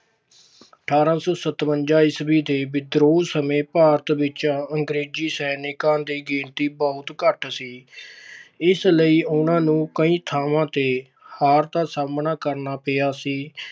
ਅਠਾਰਾਂ ਸੌ ਸਤਵੰਜਾ ਈਸਵੀ ਦੇ ਵਿਦਰੋਹ ਸਮੇਂ ਭਾਰਤ ਵਿੱਚ ਅੰਗਰੇਜੀ ਸੈਨਿਕਾਂ ਦੀ ਗਿਣਤੀ ਬਹੁਤ ਘੱਟ ਸੀ। ਇਸ ਲਈ ਉਹਨਾਂ ਨੂੰ ਕਈ ਥਾਵਾਂ ਤੇ ਹਾਰ ਦਾ ਸਾਹਮਣਾ ਕਰਨਾ ਪਿਆ ਸੀ।